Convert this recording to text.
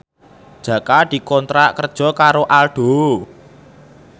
Jaka dikontrak kerja karo Aldo